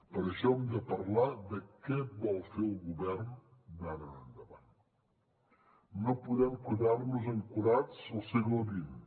per això hem de parlar de què vol fer el govern d’ara endavant no podem quedar nos ancorats al segle xx